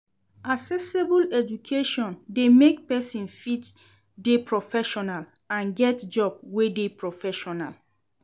Accessible education de make persin fit de proffessional and get job wey de professional